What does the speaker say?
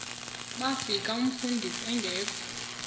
bafika umfundisi engekho